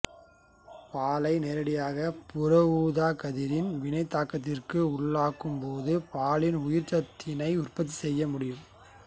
பாலை நேரடியாக புறஊதாக் கதிரின் வினைத்தாக்கத்துக்கு உள்ளாக்கும் போது பாலில் உயிர்ச்சத்து டியை உற்பத்தி செய்யமுடியும்